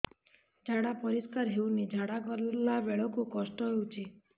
ଝାଡା ପରିସ୍କାର ହେଉନି ଝାଡ଼ା ଗଲା ବେଳେ କଷ୍ଟ ହେଉଚି